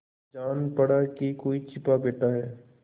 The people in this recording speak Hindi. जान पड़ा कि कोई छिपा बैठा है